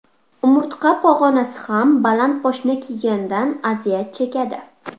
Umurtqa pog‘onasi ham baland poshna kiygandan aziyat chekadi.